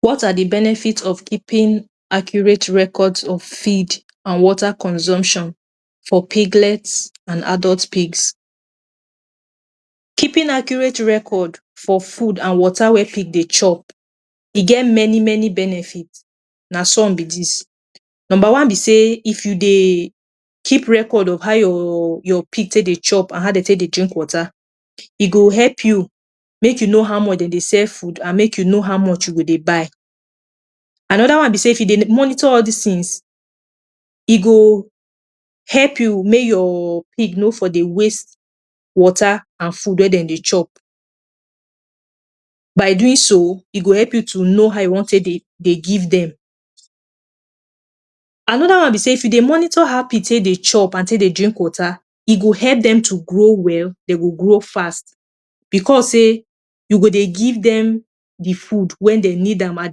What are the benefit of keeping accurate records of feed an water consumption for piglets an adult pigs? Keeping accurate record for food an water wey pig dey chop e get many-many benefit. Na some be dis: Nomba one be sey if you dey keep record of how your your pig take dey chop an how de take dey drink water, e go help you make you know how much de dey sell food, an make you know how much you go dey buy. Another one be sey if you dey monitor all dis tins, e go help you make your pig no for dey waste water an food wey de dey chop. By doing so, e go help you to know how you wan take dey dey give dem. Another one be sey if you de monitor how pig take dey chop, an take dey drink water, e go help dem to grow well, de go grow fast becos sey you go dey give dem the food wen de need am at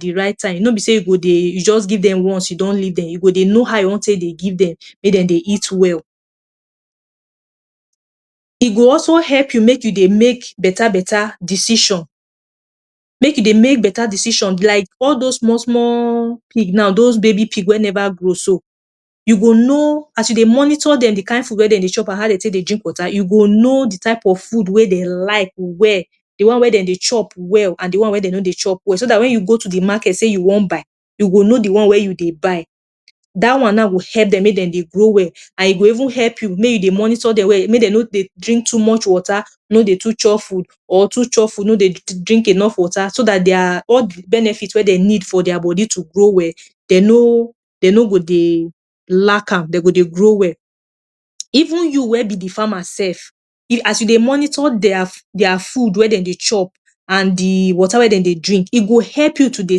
the right time, no be sey you go dey you juz give dem once you don leave dem. You go dey know how you wan take dey give dem make de dey eat well. E go also help you make you dey make beta-beta decision. Make you dey make beta decision like all dos small-small pig now, dos baby pig wey neva grow so, you go know, as you dey monitor dem—the kain food wey de dey chop an how de take dey drink water—you go know the type of food wey de like well, the one wey de dey chop well, an the one wey de no dey chop well, so dat wen you go to the market sey you wan buy, you go know the one wey you dey buy. Dat one now go help dem make de dey grow well, an e go even help you make you dey monitor dem well make de no dey drink too much water no dey too chop food, or too chop food no dey drink enough water so dat dia all the benefit wey de need for dia body to grow well, de no de no go dey lack am, de go dey grow well. Even you wey be the farmer sef, e as you dey monitor dia dia food wey de dey chop, an the water wey de dey drink, e go help you to dey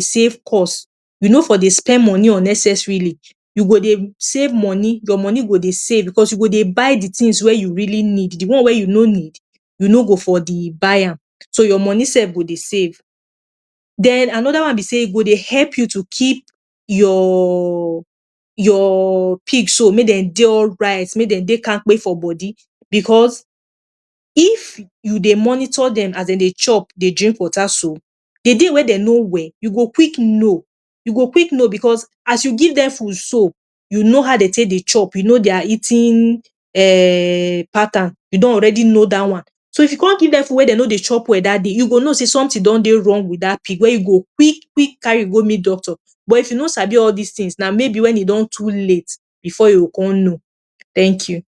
save cost. You no for dey spend money unnecessarily. You go dey save money, your money go dey save becos you go dey buy the tins wey you really need, the one wey you no need, you no go for the buy am. So your money sef go dey save. Then another one be sey e go dey help you to keep your your pig so make de dey alright, make de dey kampe for body becos if you dey monitor dem as de dey chop, dey drink water so, the day wey de no well, you go quick know. You go quick know becos as you give dem food so, you know how de take dey chop, you know dia eating um pattern, you don already know dat one. So, if you con give dem food wey de no dey chop well dat day, you go know sey something don dey wrong with dat pig wey you go quick-quick carry go meet doctor. But if you no sabi all dis tins, na maybe wen e don too late before you go con know. Thank you.